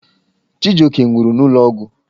Chijioke nwụrụ n'ụlọ ọgwụ.